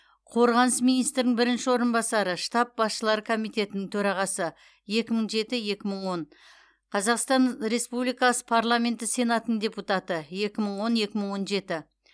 қорғаныс министрінің бірінші орынбасары штаб басшылары комитетінің төрағасы екі мың жеті екі мың он қазақстан республикасы парламенті сенатының депутаты екі мың он екі мың он жеті